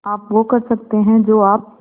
आप वो कर सकते हैं जो आप